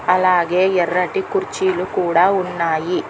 అలాగే ఎర్రటి కుర్చీలు కూడా ఉన్నాయి